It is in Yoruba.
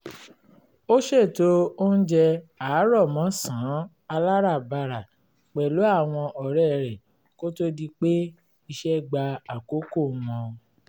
ó ṣètò oúnjẹ àárọ̀mọ́sàn-án aláràbarà pẹ̀lú àwọn ọ̀rẹ́ rẹ̀ kó tó di pé iṣẹ́ gba àkọ́kò wọn